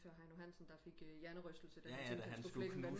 Da Heino Hansen der fik en hjernerystelse da han skulle flække en vandmelon